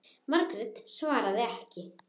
Margrét svaraði ekki.